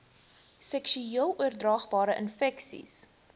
seksueel oordraagbare infeksies